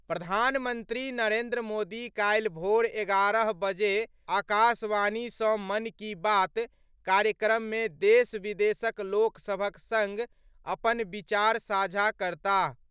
प्रधानमंत्री नरेंद्र मोदी काल्हि भोर एगारह बजे आकाशवाणी सँ मन की बात कार्यक्रममे देश विदेशक लोक सभक सङ्ग अपन विचार साझा करताह।